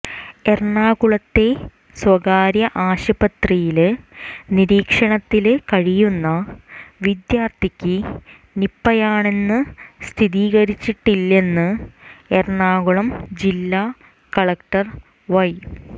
എറണാകുളത്തെ സ്വകാര്യ ആശുപത്രിയില് നിരീക്ഷണത്തില് കഴിയുന്ന വിദ്യാര്ഥിക്ക് നിപയാണെന്ന് സ്ഥിരീകരിച്ചിട്ടില്ലെന്ന് എറണാകുളം ജില്ല കളക്ടര് വൈ